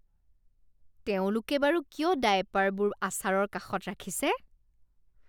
তেওঁলোকে বাৰু কিয় ডায়েপাৰবোৰ আচাৰৰ কাষত ৰাখিছে?